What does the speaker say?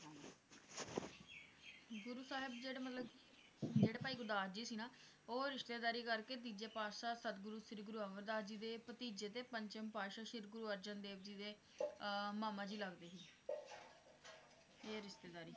ਗੁਰੂ ਸਾਹਿਬ ਜਿਹੜੇ ਮਤਲਬ ਜਿਹੜੇ ਭਾਈ ਗੁਰਦਾਸ ਜੀ ਸੀ ਨਾ, ਉਹ ਰਿਸ਼ਤੇਦਾਰੀ ਕਰਕੇ ਤੀਜੇ ਪਾਤਸ਼ਾਹ ਸਤਿਗੁਰੂ ਸ਼੍ਰੀ ਗੁਰੂ ਅਮਰਦਾਸ ਜੀ ਦੇ ਭਤੀਜੇ ਤੇ ਪੰਚਮ ਪਾਤਸ਼ਾਹ ਸ਼੍ਰੀ ਗੁਰੂ ਅਰਜਨ ਦੇਵ ਜੀ ਦੇ ਅਹ ਮਾਮਾ ਜੀ ਲਗਦੇ ਸੀ ਇਹ ਰਿਸ਼ਤੇਦਾਰੀ